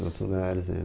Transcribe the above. Nos outros lugares.